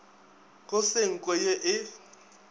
go se nko ye e